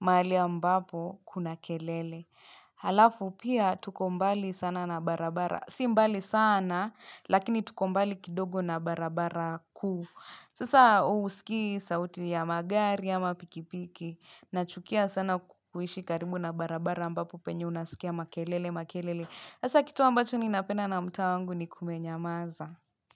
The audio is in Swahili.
mahali ambapo kuna kelele. Halafu pia tuko mbali sana na barabara. Si mbali sana lakini tuko mbali kidogo na barabara kuu. Sasa husikii sauti ya magari ama pikipiki. Nachukia sana kuishi karibu na barabara ambapo penye unasikia makelele makelele. Hasa kitu ambacho ninapenda na mtaa wangu ni kumenyamaza.